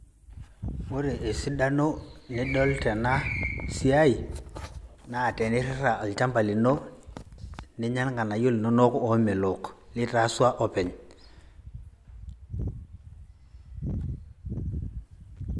Ore esidano nidol tena siai naa tenirrirra olchamba lino ninya ilng'anayio linonok omelok litasua openy.